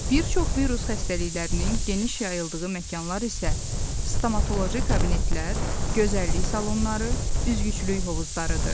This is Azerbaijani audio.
Bir çox virus xəstəliklərinin geniş yayıldığı məkanlar isə stomatoloji kabinetlər, gözəllik salonları, üzgüçülük hovuzlarıdır.